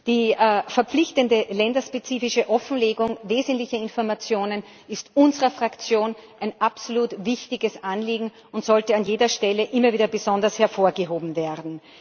ist. Die verpflichtende länderspezifische Offenlegung wesentlicher Informationen ist unserer Fraktion ein absolut wichtiges Anliegen und sollte an jeder Stelle immer wieder besonders hervorgehoben werden.